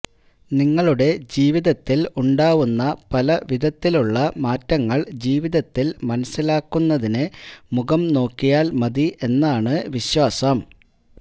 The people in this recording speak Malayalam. നിങ്ങളുടെ ജീവിതത്തില് ഉണ്ടാവുന്ന പല വിധത്തിലുള്ള മാറ്റങ്ങള് ജീവിതത്തില് മനസ്സിലാക്കുന്നതിന് മുഖം നോക്കിയാല് മതി എന്നാണ് വിശ്വാസം